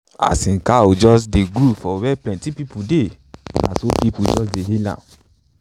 as him cows dey groove for where plenti pipo dey na so pipo just dey hail am.